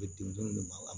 Bɛ denmisɛnw de magama